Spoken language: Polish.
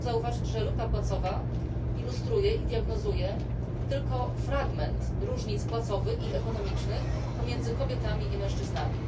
Chciałabym zauważyć, że luka płacowa ilustruje i diagnozuje tylko fragment różnic płacowych i ekonomicznych pomiędzy kobietami i mężczyznami.